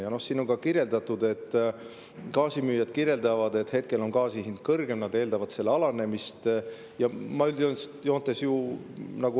Ja siin on ka kirjas, et gaasimüüjad kirjeldavad, et hetkel on gaasi hind kõrgem, ja nad eeldavad, et see alaneb.